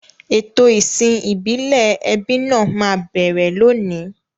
Ètò ìsìn ìbílẹ̀ ẹbí náà máa bẹ̀rẹ̀ lónìí.